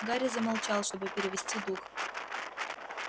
гарри замолчал чтобы перевести дух